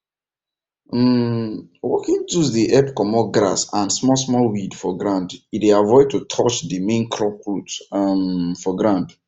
um working tools dey help comot grass and smallsmall weed for ground e dey avoid to touch dey main crop root um for ground